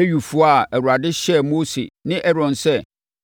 Lewifoɔ a Awurade hyɛɛ Mose ne Aaron sɛ